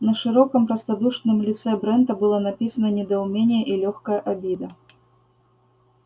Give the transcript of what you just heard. на широком простодушном лице брента было написано недоумение и лёгкая обида